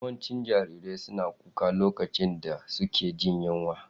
Yawancin jarirai suna kuka lokacin da suke jin yunwa.